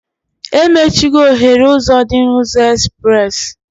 Emechigo oghere ụzọ dị na ụzọ espres